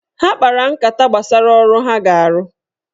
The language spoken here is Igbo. Ha kpara nkata gbasara ọrụ ha ga-arụ